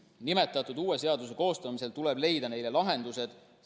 Nimetatud uue seaduse koostamisel tuleb leida lahendused.